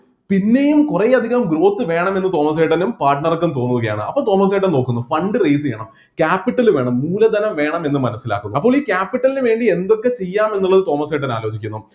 പിന്നെയും കുറെ അധികം growth വേണം എന്ന് തോമസേട്ടനും partner ക്കും തോന്നുകയാണ് അപ്പൊ തോമസ് ഏട്ടൻ തോക്കുന്നു fund raise ചെയ്യണം capital വേണം മൂലധനം വേണം എന്ന് മനസ്സിലാക്കുന്നു അപ്പൊ ഈ capital ന് വേണ്ടി എന്തൊക്കെ ചെയ്യാം എന്നത് തോമസ് ഏട്ടൻ ആലോചിക്കുന്നു